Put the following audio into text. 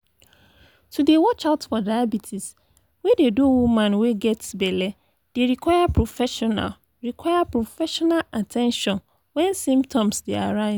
to dey watch out for diabetes wey dey do woman wey get belle dey require professional require professional at ten tion wen symptoms dey arise